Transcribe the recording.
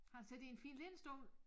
Og han sidder i en fin lænestol